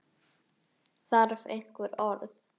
Þarf einhver orð?